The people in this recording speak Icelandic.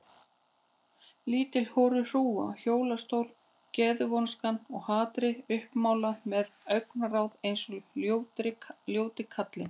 Lítil horuð hrúga í hjólastól, geðvonskan og hatrið uppmálað með augnaráð eins og ljóti kallinn.